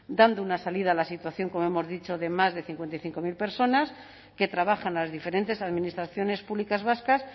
dando una salida a la situación como hemos dicho de más de cincuenta y cinco mil personas que trabajan en las diferentes administraciones públicas vascas